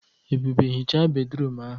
Ebube hichaa bédrụum ahụ.